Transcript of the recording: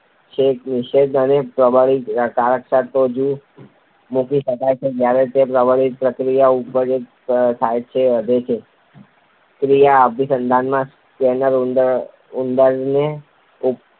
કે નિષેધક, તેને પ્રબલનની કક્ષાએ તો જ મૂકી શકાય કે જ્યારે તે પ્રબલનથી પ્રતિક્રિયા ઉપજવાની સંભાવના પહેલાં કરતાં વધે. ક્રિયાત્મક અભિસંધાનમાં સ્કિનરે ઉંદર ઉપર